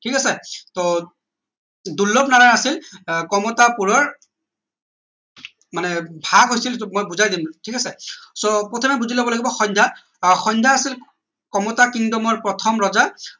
ঠিক আছে টৌ দুৰ্লনাৰায়ণৰ আছিল আহ কমতাপুৰৰ মানে ভাগ হৈছিল মই বুজাই দিম ঠিক আছে so প্ৰথমে বুলি লব লাগিব সন্ধ্যা আহ সন্ধ্যা আছিল কমতা kingdom ৰ প্ৰথম ৰজা